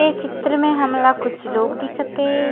ये चित्र में हमला कुछ लोग दिखत हे।